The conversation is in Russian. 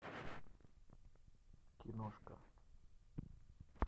киношка